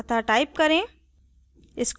अतः type करें